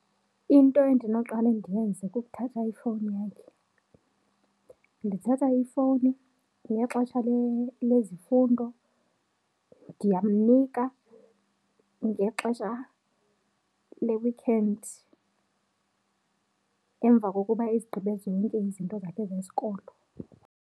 Into endinoqale ndiyenze kukuthatha ifowuni yakhe, ndithatha ifowuni ngexesha lezifundo, ndiyamnika ngexesha le-weekend emva kokuba ezigqibe zonke izinto zakhe zesikolo.